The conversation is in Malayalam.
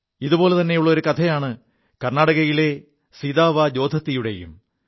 ഇതുപോലെതെയുള്ള ഒരു കഥയാണ് കർണ്ണാടകയിലെ സിതാവാ ജോദ്ദത്തിയുടേതും